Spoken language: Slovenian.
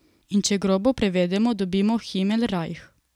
In če grobo prevedemo, dobimo Himelrajh.